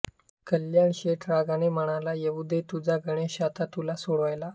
कल्याण शेठ रागाने म्हणाला येऊ दे तुझा गणेश आता तुला सोडवायला